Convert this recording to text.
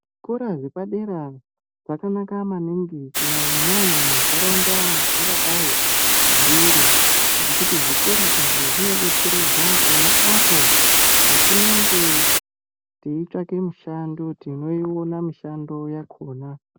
Zvikora zvepadera zvakanaka maningi kunyanyanyanya mundaraunda mazvingadai zviri nekuti zvikora izvi zvinodetseredza pona apo patinenge teitsvake mishando tinoiona mishando yakona.